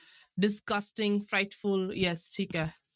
Disgusting, frightful yes ਠੀਕ ਹੈ।